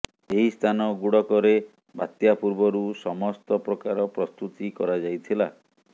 ଏହି ସ୍ଥାନଗୁଡ଼କରେ ବାତ୍ୟା ପୂର୍ବରୁ ସମସ୍ତ ପ୍ରକାର ପ୍ରସ୍ତୁତି କରାଯାଇଥିଲା